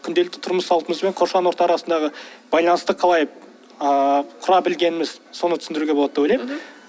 күнделікті тұрмыс салтымыз бен қоршаған орта арасындағы байланысты қалай ыыы құра білгеніміз соны түсіндіруге болады деп ойлаймын мхм